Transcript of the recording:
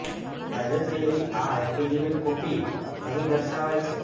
viral થયેલી આ affidavit copy અહીં દર્શાવાઈ છે